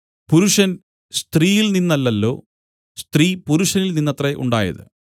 പുരുഷൻ സ്ത്രീയിൽ നിന്നല്ലല്ലോ സ്ത്രീ പുരുഷനിൽ നിന്നത്രേ ഉണ്ടായത്